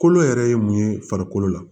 Kolo yɛrɛ ye mun ye farikolo la